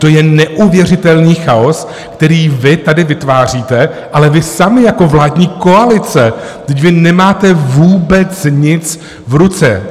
To je neuvěřitelný chaos, který vy tady vytváříte, ale vy sami jako vládní koalice, vždyť vy nemáte vůbec nic v ruce.